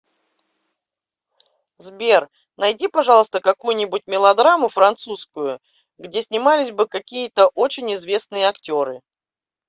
сбер найди пожалуйста какую нибудь мелодраму французскую где снимались бы какие то очень известные актеры